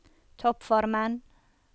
toppformen